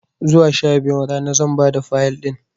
Zuwa sha biyun rana zan bada Fayil ɗin